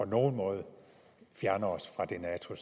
nogen måde fjerner os fra det nato